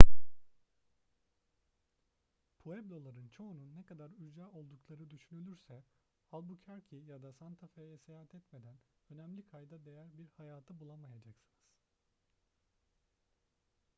pueblo'ların çoğunun ne kadar ücra oldukları düşünülürse albuquerque ya da santa fe'ye seyahat etmeden önemli kayda değer bir hayatı bulamayacaksınız